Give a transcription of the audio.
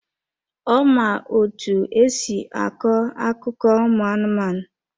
Ọ ma otú e si akọ akụkọ ụmụ anụmanụ.